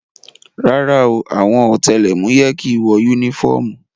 Rárá o, àwọn ọ̀tẹlẹ̀múyẹ́ kìí wọ yúnífọ́ọ̀mù